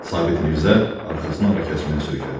Sabit Mirzə arxasını arakəsməyə söykədi.